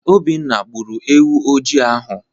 Obinna gbụrụ ewu ojii ahụ.